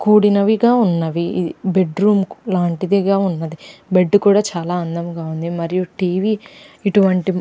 కూడినవిగా ఉన్నవి. Bedroom లాంటిదేగా ఉన్నది. బెడ్ కూడా చాలా అందంగా ఉంది. మరియు టీవీ ఇటువంటి --